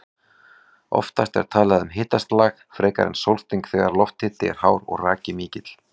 Oftast er talað um hitaslag frekar en sólsting þegar lofthiti er hár og raki mikill.